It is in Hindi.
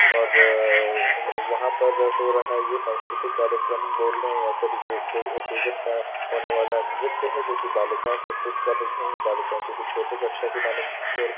और-र-र उन वहाँ पर हो रहा यह सांस्कृतिक कार्यक्रम बोल लें या फिर ये कोई ओकेशन का होने वाला नृत्य है जो कि बालिकाएँ प्रस्तुत कर रही हैं। यह बालिकाएं किसी छोटी कक्षा की मालूम पड़ती हैं और --